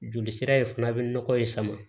Joli sira in fana bɛ nɔgɔ in sama